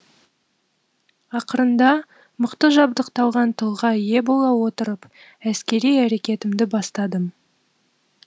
ақырында мықты жабдықталған тылға ие бола отырып әскери әрекетімді бастадым